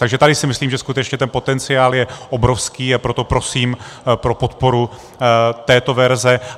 Takže tady si myslím, že skutečně ten potenciál je obrovský, a proto prosím o podporu této verze.